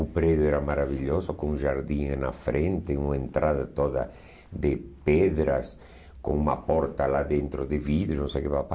O prédio era maravilhoso, com jardim em na frente, uma entrada toda de pedras, com uma porta lá dentro de vidro. Não sei o que pá pá pá